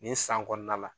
Nin san kɔnɔna la